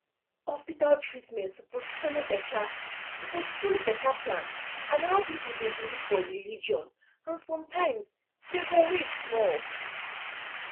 hospital treatment suppose follow better suppose follow better plan and how people dey believe for religion and sometimes dem go wait small